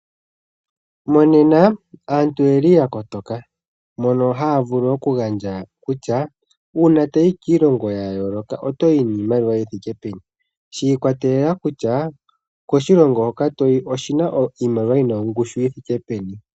Monena aantu oyeli ya kotoka mono haa vulu okugandja kutya uuna toyi kiilongo ya yooloka otoyi niimaliwa yi thike peni, shi ikwatelela kutya koshilongo hoka toyi oshina iimaliwa yi na ongushu yi thike peni.